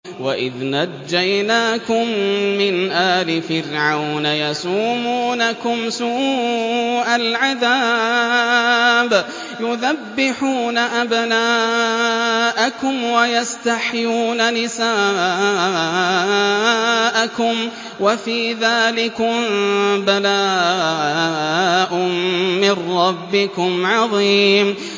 وَإِذْ نَجَّيْنَاكُم مِّنْ آلِ فِرْعَوْنَ يَسُومُونَكُمْ سُوءَ الْعَذَابِ يُذَبِّحُونَ أَبْنَاءَكُمْ وَيَسْتَحْيُونَ نِسَاءَكُمْ ۚ وَفِي ذَٰلِكُم بَلَاءٌ مِّن رَّبِّكُمْ عَظِيمٌ